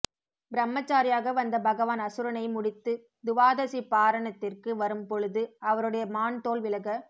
பிரம்மச்சாரியாக வந்த பகவான் அசுரனை முடித்து துவாதசி பாரணத்திற்கு வரும் பொழுது அவருடைய மான் தோல் விலக